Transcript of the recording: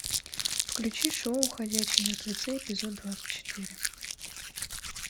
включи шоу ходячие мертвецы эпизод двадцать четыре